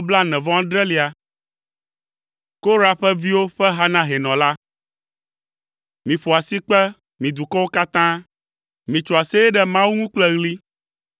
Korah ƒe viwo ƒe ha na hɛnɔ la. Miƒo asikpe, mi dukɔwo katã. Mitso aseye ɖe Mawu ŋu kple ɣli.